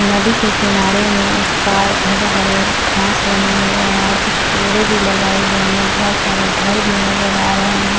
नदी के किनारे में उस पार हरे - हरे घास बने हुए है और कुछ पेड़े भी लगाए गए है बहुत सारे घर भी नजर आ रहे है।